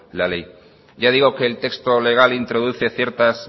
la ley ya digo que el texto legal introduce ciertas